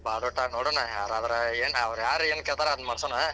ಬಾಡುಟ ನೋಡೋಣ, ಯಾರಾದ್ರ ಏನ್ ಅವ್ರ ಯಾರ್ ಏನ್ಕೇಳ್ತಾರ ಅದನ್ಮಾಡಸೊಣ.